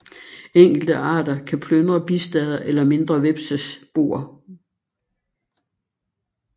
Enkelte arter kan plyndre bistader eller mindre hvepses boer